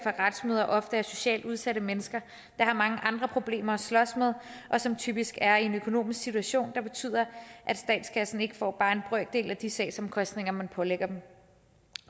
retsmøder ofte er socialt udsatte mennesker der har mange andre problemer at slås med og som typisk er i en økonomisk situation der betyder at statskassen ikke får bare en brøkdel af de sagsomkostninger man pålægger dem